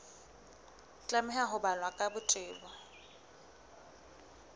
tlameha ho balwa ka botebo